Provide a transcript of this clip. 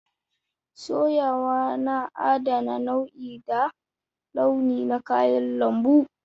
Soyawa na adana nau'i da launi na kayan lambu